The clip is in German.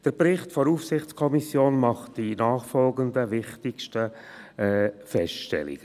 Der Bericht der Aufsichtskommission macht die nachfolgenden wichtigsten Feststellungen: